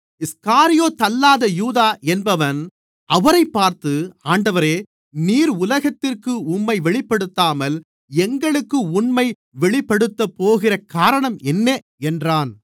ஸ்காரியோத்தல்லாத யூதா என்பவன் அவரைப் பார்த்து ஆண்டவரே நீர் உலகத்திற்கு உம்மை வெளிப்படுத்தாமல் எங்களுக்கு உம்மை வெளிப்படுத்தப்போகிற காரணம் என்ன என்றான்